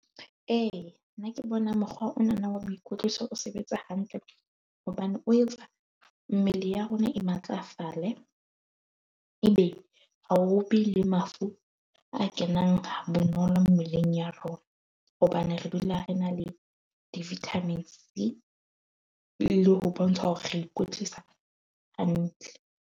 E nna ke bona mokgwa o na na wa boikwetliso o sebetsa hantle. Hobane o etsa mmele ya rona e matlafale ebe ha o be le mafura a kenang ha bonolo mmeleng ya rona, hobane re dula re na le di-vitamin C le ho bontsha hore re ikwetlisa hantle.